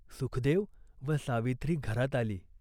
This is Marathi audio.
सुखदेव व सावित्री घरात आली.